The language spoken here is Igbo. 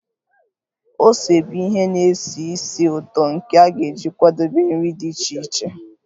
Ose bụ ihe na-esi ísì ụtọ nke a ga-eji kwadebe nri dị iche iche